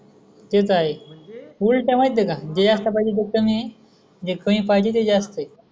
तेच आहे. उल्ट हाय ते का जे आस पाहिजे ते काय नाही एकणी पाहिजे ते ज्यास्तच.